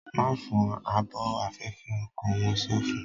Ma fọ ààbò afẹfẹ ọkọ! wọn so fún